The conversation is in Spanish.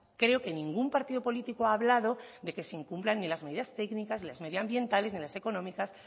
creo que ningún partido político ha hablado de que se incumplan ni las medidas técnicas ni las medioambientales ni las económicas